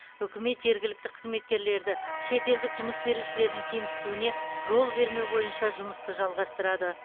үкімет жергілікті қызметкерлерді шетелдік жұмыс берушілердің кемсітуіне жол бермеу бойынша жұмысты жалғастырады